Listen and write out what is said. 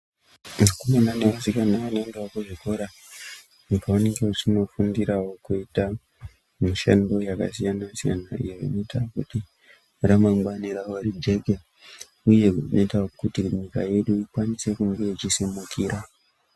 Vakomana nevasikana vanoendawo kuzvikora, uko vanenge vachifundirawo kuita mishando yakasiyana-siyana iyo inoita kuti, ramangwana rawo rijeke, uye rinoita kuti nyika yedu ikwanise kunge ichisimukira.